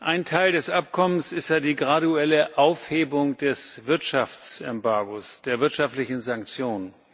Ein Teil des Abkommens ist ja die graduelle Aufhebung des Wirtschaftsembargos, der wirtschaftlichen Sanktionen.